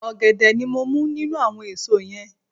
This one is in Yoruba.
Ògèdè ni mo mú nínú àwon èso yen